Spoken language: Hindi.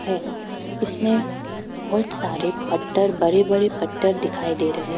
हैं इसमें बहुत सारे पत्थर बड़े बड़े पत्थर दिखाई दे रहे--